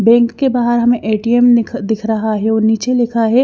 bank के बाहर हमें ए_टी_एम दि दिख रहा है और नीचे लिखा है--